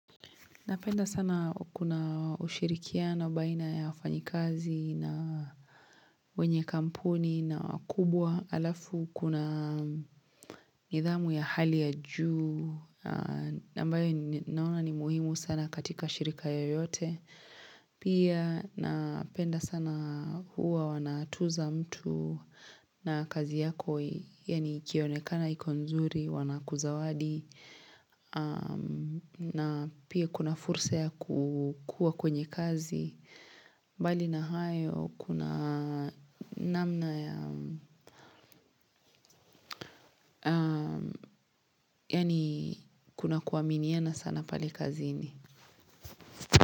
Napenda sana kuna ushirikiano baina ya wafanyikazi na wenye kampuni na kubwa alafu kuna nidhamu ya hali ya juu ambayo naona ni muhimu sana katika shirika yoyote. Pia napenda sana huwa wanatuza mtu na kazi yako yaani ikionekana iko nzuri, wanakuzawadi na pia kuna fursa ya kukua kwenye kazi mbali na hayo kuna namna ya Yaani kuna kuaminiana sana pale kazini.